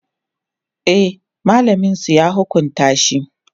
e mallamin su ya hukunta shi